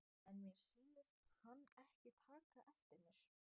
En mér sýndist hann ekki taka eftir mér.